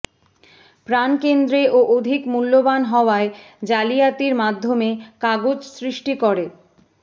প্রাণকেন্দ্রে ও অধিক মূল্যবান হওয়ায় জালিয়াতির মাধ্যমে কাগজ সৃষ্টি করে